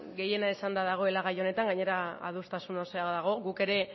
gehiena esanda dagoela gai honetan gainera adostasun osoa dago guk ere